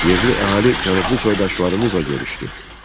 Yerli əhali cənublu soydaşlarımızla görüşdü.